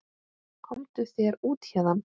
Komdu þér út héðan!